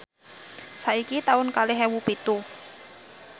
saiki taun kalih ewu pitu